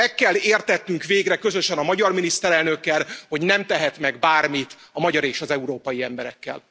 Meg kell értetnünk végre közösen a magyar miniszterelnökkel, hogy nem tehet meg bármit a magyar és az európai emberekkel.